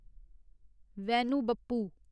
Vainu Bappu